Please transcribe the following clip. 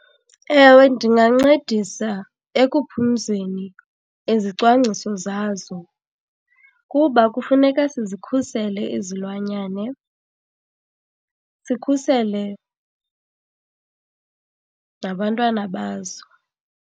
Ewe, ndingancedisa ekuphumzeni izicwangciso zazo kuba kufuneka sizikhusele izilwanyane, sikhusele nabantwana bazo.